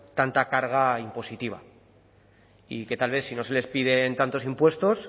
tanta carga impositiva y que tal vez si no se les piden tantos impuestos